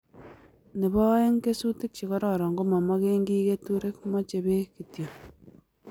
Nebo aeng' kesutik che kororon ko ma mage kiy keturek mache peek kityo